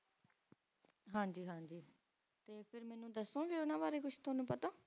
ਹਾਂਜੀ ਹਾਂਜੀ ਤੇ ਮੈਨੂੰ ਦੱਸੋ ਗੇ ਉਨ੍ਹਾਂ ਬਾਰੇ ਤੁਵੰਨਣੁ ਕੁਛ